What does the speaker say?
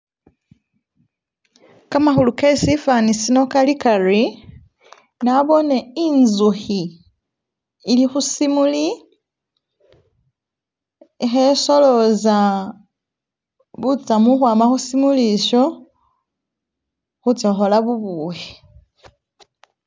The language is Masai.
Kamakhuli ke sifani sino kali kari naboone inzukhi ili khu simuli ikhe soloza butsamu ukhwama khu simuli isho khutsa khukhola bubukhi